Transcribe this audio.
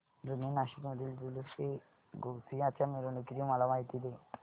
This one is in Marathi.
जुने नाशिक मधील जुलूसएगौसिया च्या मिरवणूकीची मला माहिती दे